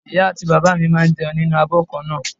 Ìyá àti bàbá mi máa ń jẹun nínú abo kan náà.